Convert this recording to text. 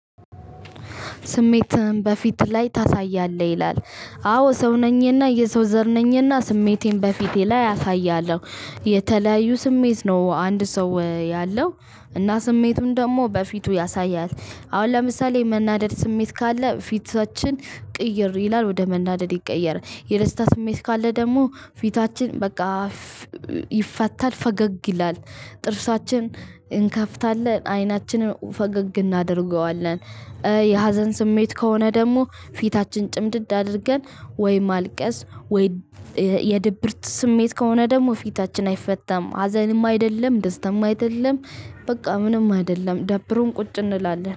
ስሜትህን በፊት ላይ ታሳያለህ ይላል? አዎ ሰው ነኝና የሰው ዘር ነኝና ስሜቴን በፊቴ ላይ አሳያለሁ። የተለያዩ ስሜት ነው አንድ ሰው ያለው እና ስሜቱን ደግሞ በፊቱ ያሳያል። አሁን ለምሳሌ መናደድ ስሜት ካለ ፊታችን ቅይር ይላል ወደ መናደድ ይቀየራል። የደስታ ስሜት ካለ ደግሞ ፊታችን በቃ ይፋታል ፈገግ ይላል ጥርሳችን እንከፍታለን አይናችንን ፈገግ እናደርገዋለን። የሀዘን ስሜት ከሆነ ደግሞ ፊታችን ጭምድድ አድርገን ወይ ማልቀስ ወይ። የድብርት ስሜት ከሆነ ደግሞ ፊታችን አይፈታም ሀዘንም አይደለም ደስታም አይደለም። በቃ ምንም አይደለም ደብሮን ቁጭ እንላለን